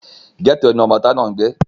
gẹ́tò ni ọmọ ìta náà ń gbé